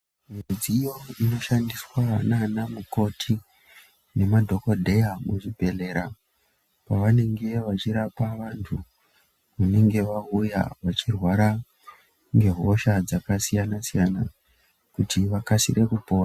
Midziyo inoshandiswe naanamukoti nemadhokodheya muzvibhedhlera pavanenge vachirapa vantu vanenge vauya vachirwara ngehosha dzakasiyana siyana kuti vakasire kupora.